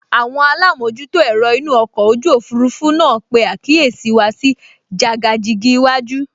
Àwọn alámojútó ẹ̀rọ inú ọkọ̀ ojú òfurufú náà pe àkíyèsí wa sí jàgàjìgì iwájú